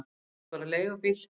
Ég tek bara leigubíl.